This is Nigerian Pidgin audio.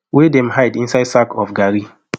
wey dem hide inside sacks of garri